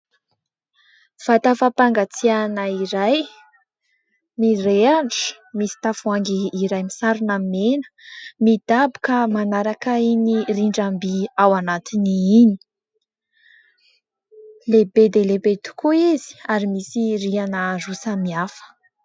Vata fampangatsiahana iray, mirehatra, misy tavoahangy iray misarona mena midaboka manaraka iny rindram-by ao anatiny iny. Lehibe dia lehibe tokoa izy ary misy rihana roa samihafa.